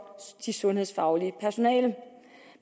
det sundhedsfaglige personale